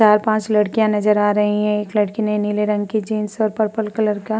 चार-पांच लड़कियां नजर आ रही हैं। एक लड़की ने नीले रंग की जीन्स और पर्पल कलर का --